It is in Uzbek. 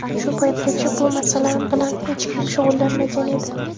Shu paytgacha bu masala bilan hech kim shug‘ullanmagan edi.